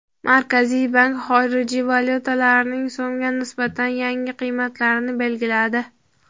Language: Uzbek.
Markaziy bank xorijiy valyutalarning so‘mga nisbatan yangi qiymatlarini belgiladi.